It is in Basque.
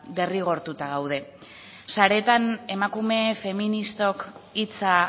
derrigortuta gaude sareetan emakume feministok hitza